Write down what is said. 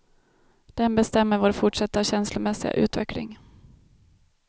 Den bestämmer vår fortsatta känslomässiga utveckling.